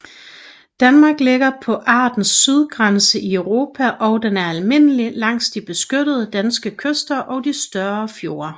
Danmark ligger på artens sydgrænse i Europa og den er almindelig langs de beskyttede danske kyster og de større fjorde